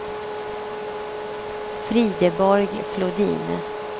Frideborg Flodin